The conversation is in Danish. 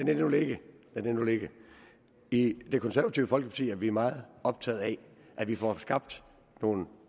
det nu ligge lad det nu ligge i det konservative folkeparti er vi meget optaget af at vi får skabt nogle